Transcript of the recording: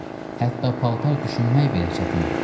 Hətta paltar düşünmək belə çətindir.